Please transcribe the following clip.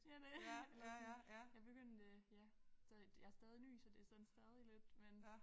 Ja det er eller sådan jeg begyndte øh ja så jeg stadig ny så det sådan stadig lidt men